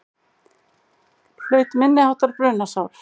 Hlaut minniháttar brunasár